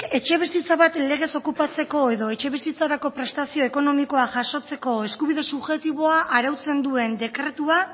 etxebizitza bat legez okupatzeko edo etxebizitzarako prestazio ekonomikoa jasotzeko eskubide subjektiboa arautzen duen